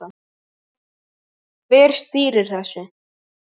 Hver stýrir þessu?